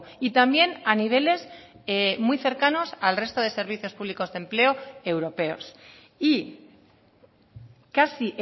y también a niveles muy cercanos al resto de servicios públicos de empleo europeos y casi